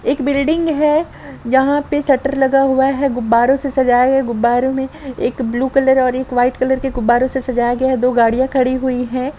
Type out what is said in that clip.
एक बिल्डिंग है यहाँ पे शटर लगा हुआ है गुबारों से सजाया है गुबारों में एक ब्लू कलर एक वाइट कलर के गुबारों से सजाया गया है दो गाड़िया खड़ी हुई है।